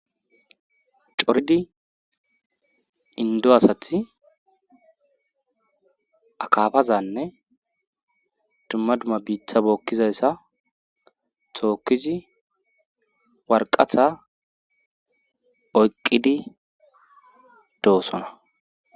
Coridi indo asathi akafazanne dumma dumma biitha bookkizayssa tookkizi warqatha oyqqidi doosona.